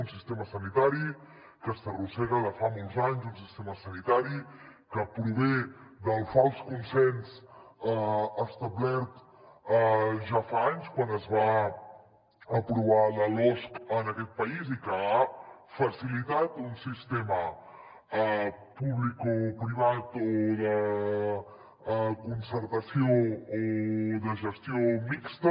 un sistema sanitari que s’arrossega de fa molts anys un sistema sanitari que prové del fals consens establert ja fa anys quan es va aprovar la losc en aquest país i que ha facilitat un sistema publicoprivat o de concertació o de gestió mixta